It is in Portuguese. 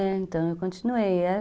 Então, eu continuei.